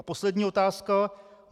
A poslední otázka.